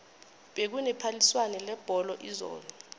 bekune phaliswano lebholo izolo